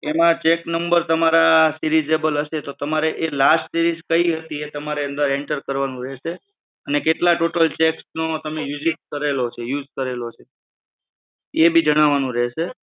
એમાં cheque number seriesable હશે તો તમારે જે last series કઈ હતી એ તમારે અંદર enter કરવાનું રહેશે અને કેટલા total cheques નો તમે uses use કરેલો છે એ બી જણાવવાનું રહેશે.